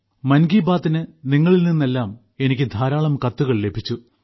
മൻകിബാത്തിന് നിങ്ങളിൽ നിന്നെല്ലാം എനിക്ക് ധാരാളം കത്തുകൾ ലഭിച്ചു